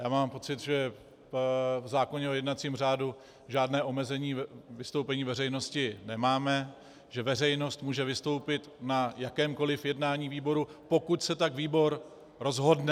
Já mám pocit, že v zákoně o jednacím řádu žádné omezení vystoupení veřejnosti nemáme, že veřejnost může vystoupit na jakémkoli jednání výboru, pokud se tak výbor rozhodne.